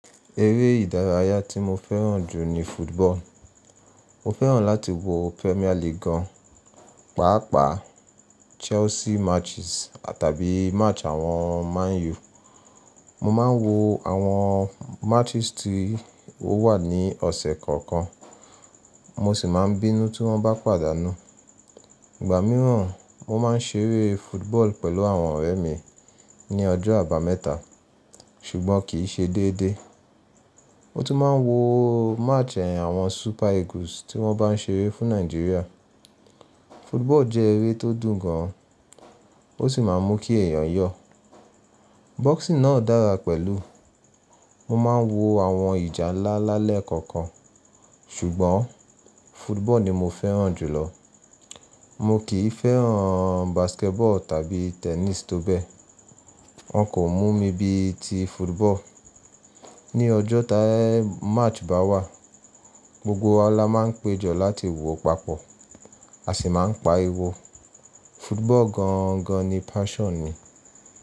Eré ìdárayá tí mo fẹ́ràn jù ní football. Mo fẹ́ràn láti wo Premier League gan, pàápàá Chelsea matches tàbí match àwọn Man U. Mo ma ń wo àwọn matches tí ó wà ní ọ̀sẹ̀ kọ̀ọ̀kan, mo sì máa ń bínú tí wọ́n bá pàdánù. Ìgbà mìíràn, mo máa ń ṣeré football pẹ̀lú àwọn ọ̀rẹ́ mi ní ọjọ́ àbámẹ́ta, ṣùgbọ́n kì í ṣe déédéé. Mo tún máa ń wo match ẹyin àwọn Super Eagles tí wọ́n bá ń ṣeré fún Nàìjíríà. Football jẹ́ eré tó dùn gan, ó sì máa ń mú kí èèyàn yọ̀. Boxing náà dára pẹ̀lú, mo ma ń wo àwọn ìjà ńlá lá lẹ́kọ̀ọ̀kan. Ṣùgbọ́n football ni mo fẹ́ràn jù lọ. Mo kì í fẹ́ràn basketball tàbí tennis tó bẹ́ẹ̀. Wọ́n kò mú mi bí i ti football. Ni ọjọ́ ta match bá wà, gbogbo wa la máa ń péjọ láti wo papọ̀, a sì máa ń pariwọ. Football gan gan ni passion mi.